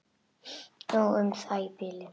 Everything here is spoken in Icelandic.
Nóg um það í bili.